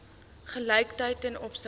gelykheid ten opsigte